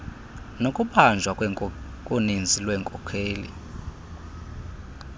nokubanjwa koninzi lweenkokheli